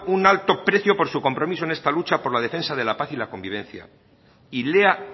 un alto precio por su compromiso en esta lucha por la defensa de la paz y la convivencia y lea